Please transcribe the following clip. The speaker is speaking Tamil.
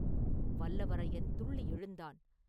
வல்லவரையன் துள்ளி எழுந்தான்.